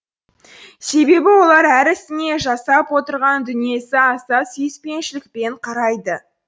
себебі олар әр ісіне жасап отырған дүниесі аса сүйіспеншілікпен қарайды